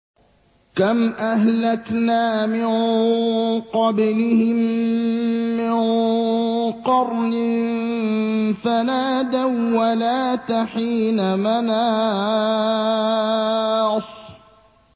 كَمْ أَهْلَكْنَا مِن قَبْلِهِم مِّن قَرْنٍ فَنَادَوا وَّلَاتَ حِينَ مَنَاصٍ